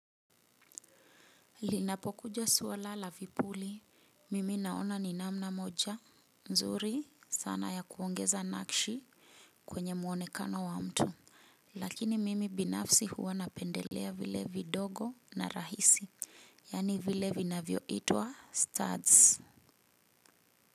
Linapokuja suala la vipuli, mimi naona ni namna moja. Nzuri sana ya kuongeza nakshi kwenye muonekano wa mtu. Lakini mimi binafsi huwa napendelea vile vidogo na rahisi. Yani vile vinavyo itwa studs.